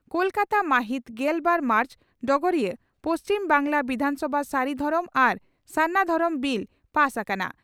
ᱠᱚᱞᱠᱟᱛᱟ, ᱢᱟᱦᱤᱛ ᱜᱮᱞ ᱵᱟᱨ ᱢᱟᱨᱪ (ᱰᱚᱜᱚᱨᱤᱭᱟᱹ) ᱺ ᱯᱩᱪᱷᱤᱢ ᱵᱟᱝᱜᱽᱞᱟ ᱵᱤᱫᱷᱟᱱᱥᱚᱵᱷᱟ ᱥᱟᱨᱤ ᱫᱷᱚᱨᱚᱢ ᱟᱨ ᱥᱟᱨᱱᱟ ᱫᱷᱚᱨᱚᱢ ᱵᱤᱞ ᱯᱟᱥ ᱟᱠᱟᱱᱟ ᱾